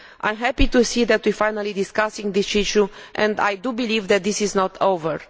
I am happy to see that we are finally discussing this issue and I believe that this is not yet over.